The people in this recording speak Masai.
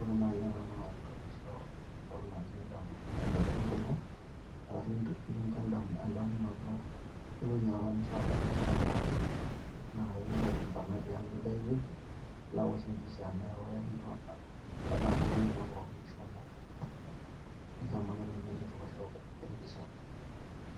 ore nai ena naa kintoki aisho entoki naji kumbukumbu ino arashu pee kincho endamunoto ewueji apa nishomo naai matejo impang'a tiaang' nilo aosh empisha neeku tadamu ewueji apa pookin nishomo